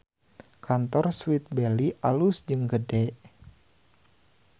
Kantor Sweet Belly alus jeung gede